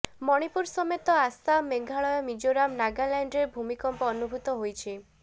ମଣିପୁର ସମେତ ଆସାମ ମେଘାଳୟ ମିଜୋରାମ୍ ନାଗାଲାଣ୍ଡରେ ଭୂମିକମ୍ପ ଅନୁଭୂତ ହୋଇଛି